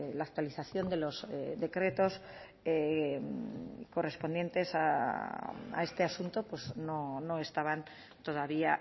la actualización de los decretos correspondientes a este asunto no estaban todavía